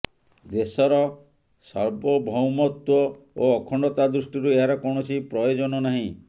ଦେଶର ସାର୍ବଭୌମତ୍ୱ ଓ ଅଖଣ୍ଡତା ଦୃଷ୍ଟିରୁ ଏହାର କୌଣସି ପ୍ରୟୋଜନ ନାହିଁ